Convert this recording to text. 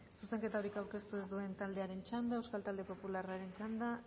zuzenketarik aurkeztu ez duen taldearen txanda euskal talde popularraren txanda